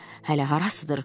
Hələ harasıdır.